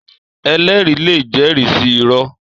Èlèrí lé jèrí si irò